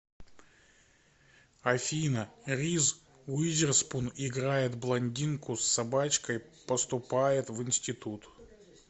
афина риз уизерспун играет блондинку с собачкой поступает в институт